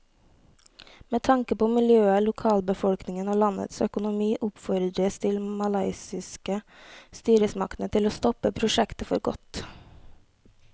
Med tanke på miljøet, lokalbefolkningen og landets økonomi oppfordres de malaysiske styresmaktene til å stoppe prosjektet for godt.